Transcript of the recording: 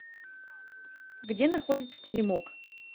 где находится теремок